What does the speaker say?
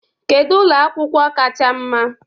Kedu ụlọ akwụkwọ kacha mma?